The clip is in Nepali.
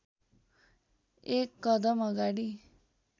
एक कदम अगाडि